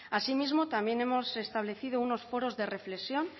asimismo también hemos establecido unos foros de reflexión